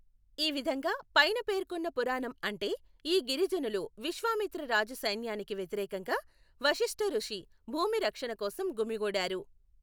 ఈ విధంగా పైన పేర్కొన్న పురాణం అంటే ఈ గిరిజనులు విశ్వామిత్ర రాజు సైన్యానికి వ్యతిరేకంగా వశిష్ఠ ఋషి భూమి రక్షణ కోసం గుమిగూడారు.